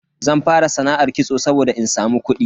Zan fara sana'ar kitso saboda in samu kudi.